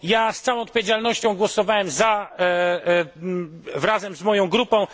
Z całą odpowiedzialnością głosowałem za, razem z moja grupą.